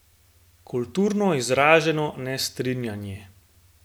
Kulturno izraženo nestrinjanje.